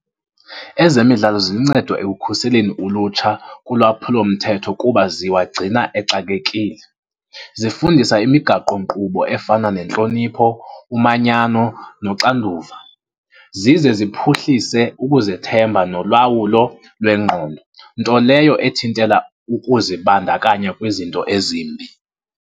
Ezemidlalo ziluncedo ekukhuseleni ulutsha kulwaphulomthetho kuba ziwagcina exakekile. Zifundisa imigaqonkqubo efana nentlonipho, umanyano noxanduva. Zize ziphuhlise ukuzethemba nolawulo lwengqondo, nto leyo ethintela ukuzibandakanya kwizinto ezimbi.